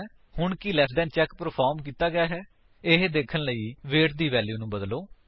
ਹੁਣ ਕੀ less than check perform ਕੀਤਾ ਗਿਆ ਹੈ160 ਇਹ ਦੇਖਣ ਲਈ ਵੇਟ ਦੀ ਵੈਲਿਊ ਨੂੰ ਬਦਲੋ